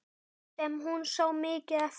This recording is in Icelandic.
Sem hún sá mikið eftir.